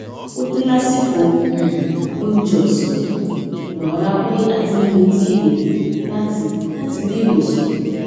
ó dé lásìkò um oúnjẹ òsán kò mò rárá pé a ti ń retí ìròyìn láti láti ilé ìwòsàn